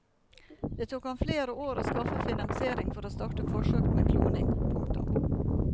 Det tok ham flere år å skaffe finansiering for å starte forsøk med kloning. punktum